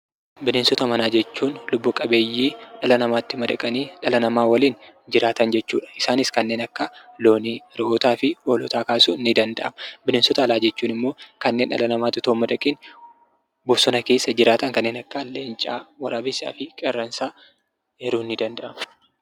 Bineensota manaa jechuun lubbu qabeeyyii dhala namaatti madaqanii, dhala namaa waliin jiraatan jechuudha. Isaanis kanneen akka loonii, re'ootaa fi hoolota kaasuun ni danda'ama. Bineensota alaa jechuun immoo kanneen dhala namaatti otoo hin madaqiin bosona keessa jiraatan kanneen akka leencaa, waraabessaa fi qeerransaa eeruun ni danda'ama.